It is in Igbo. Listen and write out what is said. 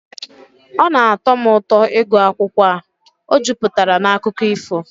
Ọ na-atọ m ụtọ ịgụ akwụkwọ a, ọ juputara na akụkọ ifo